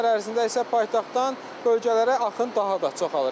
Bu günlər ərzində isə paytaxtdan bölgələrə axın daha da çoxalır.